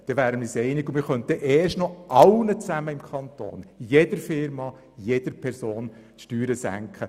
Wir könnten jeder Firma und jeder Person im Kanton die Steuern senken.